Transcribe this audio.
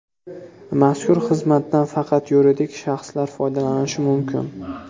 Mazkur xizmatdan faqat yuridik shaxslar foydalanishi mumkin.